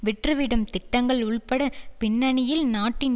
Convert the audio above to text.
விற்றுவிடும் திட்டங்கள் உள்பட பின்னனியில் நாட்டின்